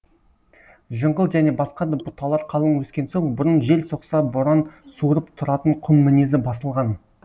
жыңғыл және басқа да бұталар қалың өскен соң бұрын жел соқса боран суырып тұратын құм мінезі басылған